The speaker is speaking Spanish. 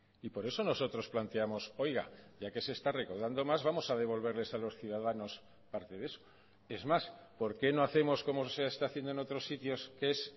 y por eso nosotros planteamos oiga ya que se está recaudando más vamos a devolverles a los ciudadanos parte de eso es más por qué no hacemos como se está haciendo en otros sitios que es